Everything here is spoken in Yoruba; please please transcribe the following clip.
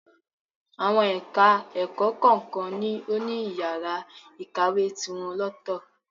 Àwọn ẹ̀ka-ẹ̀kọ kọ̀ọ̀kan ló ní yàrá ìkàwé tiwọn lọ́tọ̀